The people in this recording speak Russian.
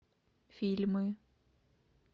фильмы